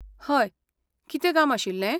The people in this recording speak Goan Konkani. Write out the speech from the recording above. हय, कितें काम आशिल्लें?